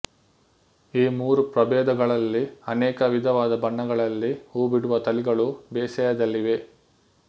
ಈ ಮೂರು ಪ್ರಭೇದಗಳಲ್ಲಿ ಅನೇಕ ವಿಧವಾದ ಬಣ್ಣಗಳಲ್ಲಿ ಹೂ ಬಿಡುವ ತಳಿಗಳು ಬೇಸಾಯದಲ್ಲಿವೆ